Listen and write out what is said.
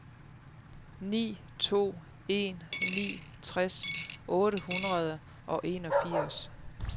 ni to en ni tres otte hundrede og enogfirs